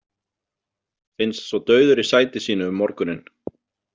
Finnst svo dauður í sæti sínu um morguninn.